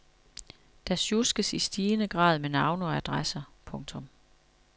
Der sjuskes i stigende grad med navne og adresser. punktum